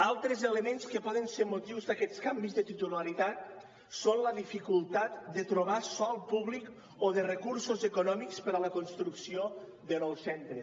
altres elements que poden ser motiu d’aquests canvis de titularitat són la dificultat de trobar sòl públic o de recursos econòmics per a la construcció de nous centres